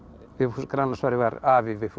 Vigfús Grænlandsfari var afi Vigfúsar